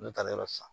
N'u taara yɔrɔ san